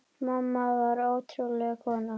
Mamma var ótrúleg kona.